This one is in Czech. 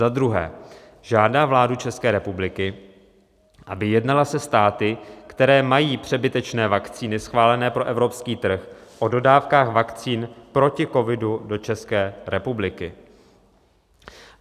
"Za druhé žádá vládu České republiky, aby jednala se státy, které mají přebytečné vakcíny schválené pro evropský trh o dodávkách vakcín proti covidu do České republiky."